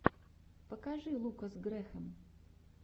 покажи лукас грэхэм